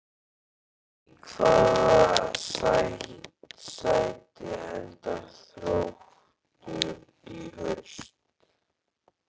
Í hvaða sæti endar Þróttur í haust?